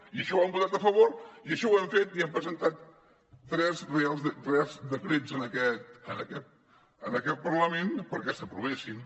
i això ho hem votat a favor i això ho hem fet i hem presentat tres decrets en aquest parlament perquè s’aprovessin